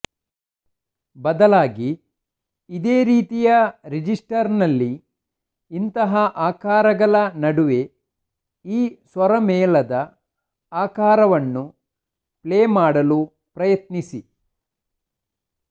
ಬದಲಾಗಿ ಇದೇ ರೀತಿಯ ರಿಜಿಸ್ಟರ್ನಲ್ಲಿ ಇತರ ಆಕಾರಗಳ ನಡುವೆ ಈ ಸ್ವರಮೇಳದ ಆಕಾರವನ್ನು ಪ್ಲೇ ಮಾಡಲು ಪ್ರಯತ್ನಿಸಿ